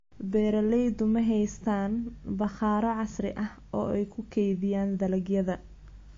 Beeraleydu ma haystaan ??bakhaaro casri ah oo ay ku kaydiyaan dalagyada.